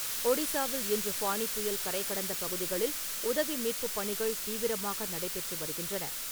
ஒடிசாவில் இன்று ஃபானி புயல் கரை கடந்த பகுதிகளில் உதவி மீட்புப் பணிகள் தீவிரமாக நடைபெற்று வருகின்றன.